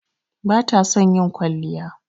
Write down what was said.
Bata son ƴin kwalliya.